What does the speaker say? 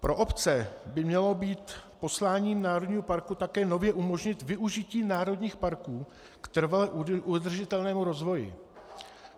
Pro obce by mělo být posláním národního parku také nově umožnit využití národních parků k trvale udržitelnému rozvoji.